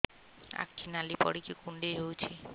ଆଖି ନାଲି ପଡିକି କୁଣ୍ଡେଇ ହଉଛି